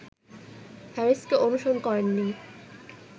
হ্যারিসকে অনুসরণ করেননি